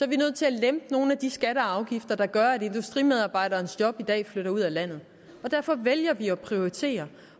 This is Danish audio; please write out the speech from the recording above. vi nødt til at lempe nogle af de skatter og afgifter der gør at industriarbejderens job i dag flytter ud af landet derfor vælger vi at prioritere